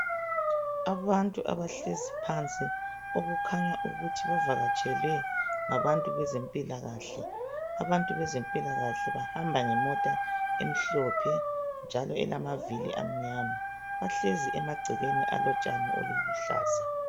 Abantu abahlezi phansi okukhanya ukuthi bavakatshelwe ngabantu bezempilakahle. Abantu bezempilakahle bahamba ngemota emhlophe njalo elamavili amnyama. Bahlezi emagcekeni alotshani obuluhlaza.